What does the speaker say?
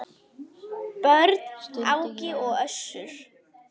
Börn: Áki og Össur.